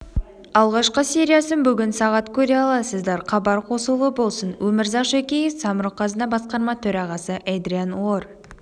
алғашқы сериясын бүгін сағат көре аласыздар хабар қосулы болсын өмірзақ шөкеев самрұқ-қазына басқарма төрағасы эдриан орр